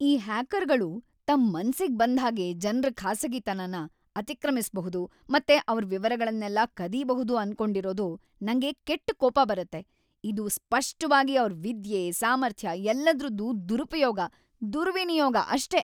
ಈ ಹ್ಯಾಕರ್‌ಗಳು ತಮ್ ಮನ್ಸಿಗ್‌ ಬಂದ್ಹಾಗೆ ಜನ್ರ ಖಾಸಗಿತನನ ಅತಿಕ್ರಮಿಸ್ಬಹುದು ಮತ್ತೆ ಅವ್ರ್ ವಿವರಗಳ್ನೆಲ್ಲ ಕದೀಬಹುದು ಅನ್ಕೊಂಡಿರೋದು ನಂಗೆ ಕೆಟ್ಟ್ ಕೋಪ ಬರತ್ತೆ. ಇದು ಸ್ಪಷ್ಟ್‌ವಾಗಿ ಅವ್ರ್ ವಿದ್ಯೆ, ಸಾಮರ್ಥ್ಯ ಎಲ್ಲದ್ರದ್ದೂ ದುರುಪಯೋಗ, ದುರ್ವಿನಿಯೋಗ ಅಷ್ಟೇ!